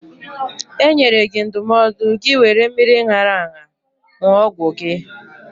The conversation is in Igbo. E nyere gị ndụmọdụ gị wéré mmiri ṅara aṅa ṅụọ ọgwụ gị